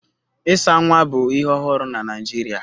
Ịsa nwa bụ ihe ọhụrụ na Naịjirịa